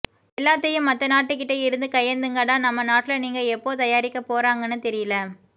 எல்லாத்தையும் மத்த நாட்டு கிட்ட இருந்து கையேந்துங்கள் டா நம்ம நாட்டுல நீங்க எப்போதயாரிக்க போறாங்கன்னு தெரியல